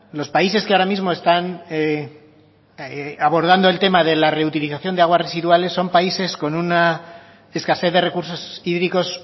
los países que ahora mismo están abordando el tema de la reutilización de aguas residuales son países con una escasez de recursos hídricos